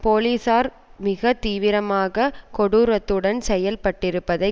போலீசார் மிக தீவிரமாக கொடூரத்துடன் செயல்பட்டிருப்பதைக்